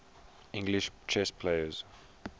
english chess players